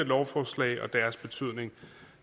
lovforslag og deres betydning